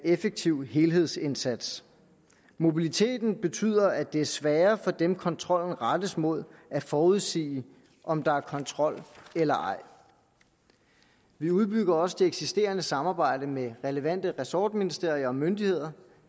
effektiv helhedsindsats mobiliteten betyder at det er sværere for dem kontrollen rettes mod at forudsige om der er kontrol eller ej vi udbygger også det eksisterende samarbejde med relevante ressortministerier og myndigheder